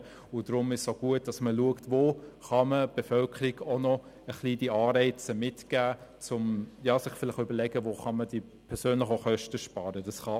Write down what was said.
Deshalb ist es auch gut, dass man schaut, wo man der Bevölkerung ein wenig von diesen Anreizen mitgeben kann und sich überlegt, wo man persönlich Kosten sparen kann.